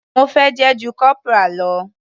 Mo fẹ́ ju corporal lọ.